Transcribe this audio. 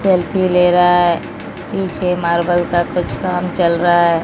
Selfie ले रहा है। नीचे मार्बल का कुछ काम चल रहा है।